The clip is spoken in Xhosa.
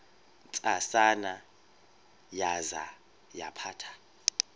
ntsasana yaza yaphatha